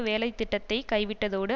வேலைத்திட்டத்தைக் கைவிட்டதோடு